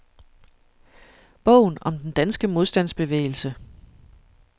Bogen om den danske modstandsbevægelse.